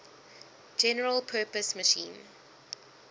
general purpose machine